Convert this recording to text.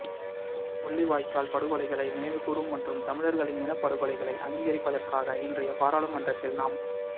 முள்ளிவாய்க்கால் படுகொலைகளை நினைவுகூரும் மற்றும் தமிழர்களின் இனப்படுகொலைகளை அங்கீகரிப்பதற்காக இன்றைய பாராளுமன்றத்தில் நாம்